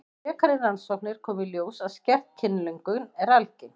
Við frekari rannsóknir kom í ljós að skert kynlöngun er algeng.